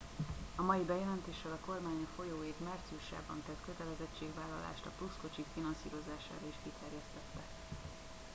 a mai bejelentéssel a kormány a folyó év márciusában tett kötelezettségvállalását a plusz kocsik finanszírozására is kiterjesztette